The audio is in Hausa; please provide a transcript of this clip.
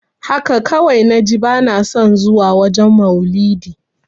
Haka kawai naji bana son zuwa wajen maulidi.